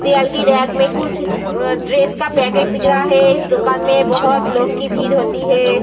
दीवाल की रैक में कुछ ड्रेस का पैकेट दिख रहा है इस दुकान में बहुत लोग की भीड़ होती है।